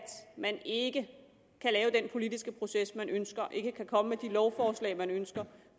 man ikke kan lave den politiske proces man ønsker ikke kan komme med de lovforslag man ønsker